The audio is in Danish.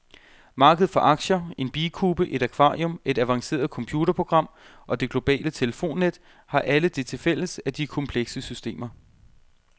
Markedet for aktier, en bikube, et akvarium, et avanceret computerprogram og det globale telefonnet har alle det tilfælles, at de er komplekse systemer.